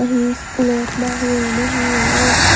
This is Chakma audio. he school ote na he obow.